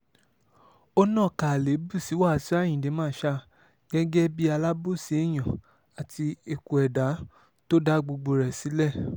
ó nàka àléébù sí wáṣíù ayinde marshal gẹ́gẹ́ bíi alábòsí èèyàn àti eku ẹdá tó dá gbogbo rẹ̀ sílẹ̀